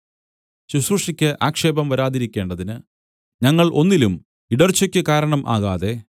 ശുശ്രൂഷയ്ക്ക് ആക്ഷേപം വരാതിരിക്കേണ്ടതിന് ഞങ്ങൾ ഒന്നിലും ഇടർച്ചക്ക് കാരണം ആകാതെ